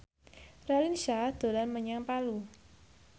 Raline Shah dolan menyang Palu